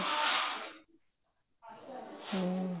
ਹਮ